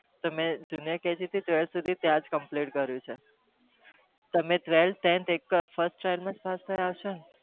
તો મી juniyar થી tweklth ત્યાં જ કર્યું છે